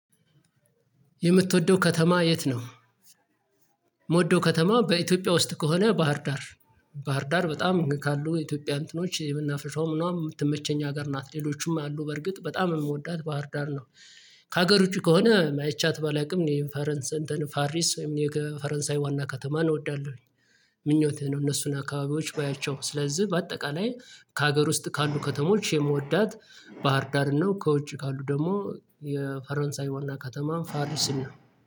የምትወደው ከተማ የት ነው? የምወደው ከተማ በኢትዮጵያ ውስጥ ከሆነ ባህር ዳር። ባህር ዳር በጣም ካሉ የኢትዮጵያ እንትኖች የምናፈሻው ምናምን የምትመቸኝ ሀገር ናት። ሌሎችም አሉ በርግጥ በጣም የምወዳት ባህር ዳር ነው። ከሀገር ውጪ ከሆነ አይቻት ባላውቅም እኔ ፈረንሳይ ፋሪስ ወይም ፈረንሳይ ዋና ከተማ እወዳለሁኝ። ምኞቴ ነው እነሱን አካባቢዎች ባያቸው። ስለዚህ በአጠቃላይ ከሀገር ውስጥ ካሉ ከተሞች የምወዳት ባህር ዳር ነው። ከውጭ ካሉ ደግሞ የፈረንሳይ ዋና ከተማም ፋሪስ ነው።